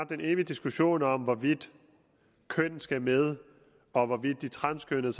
den evige diskussion om hvorvidt køn skal med og hvorvidt de transkønnede